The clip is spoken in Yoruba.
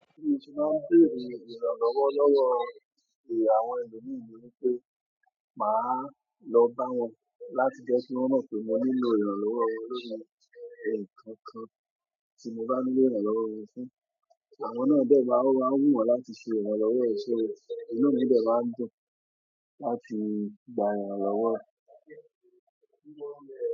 Tí n bá n béèrè ìrànlọ́wọ́ lọ́wọ́ àwọn ẹlòmíì ni wípé, màá lọ bá wọn láti jẹ́ kí wọn náà pe mo nílò ìrànlọ́wọ́ wọn nínú ẹ̀ nǹkan kan tí mo bá nílò ìrànlọ́wọ́ wọn fún, àwọn náà jẹ́ máa wù wọ́n láti ṣe ìrànlọ́wọ́ ẹ. So iná ni ó jẹ́ máa ń dùn láti gba àwọn ìrànlọ́wọ́.